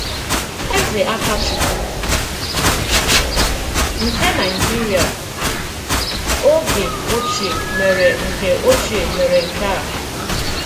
Èzè Àkàchùkwù nke Nàìjìrìà ògè òchìè mèré nke òchìè mèré nke à.